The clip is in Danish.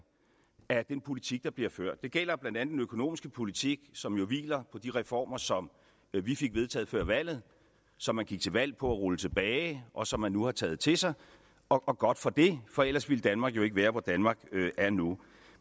af den politik der bliver ført det gælder blandt andet den økonomiske politik som jo hviler på de reformer som vi fik vedtaget før valget som man gik til valg på at rulle tilbage og som man nu har taget til sig og godt for det for ellers ville danmark jo ikke være hvor danmark er nu